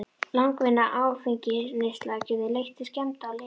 Langvinn áfengisneysla getur leitt til skemmda á lifur.